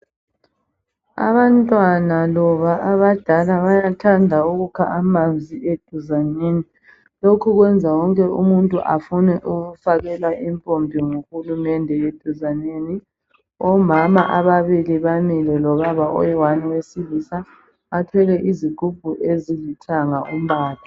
Abantwana loba abadala bayathanda ukukha amanzi eduzaneni. Lokhu kwenza wonke umuntu afune ukufakelwa impompi nguhulumende eduzaneni. Omama ababili bamile lobaba oyiwani owesilisa bathwele izigubhu ezilithanga umbala.